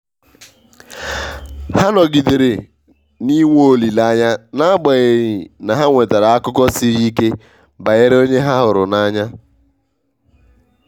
ha nọgidere na i nwe olileanya n'agbanyeghị na ha nwetara akụkọ siri ike banyere onye ha hụrụ n'anya.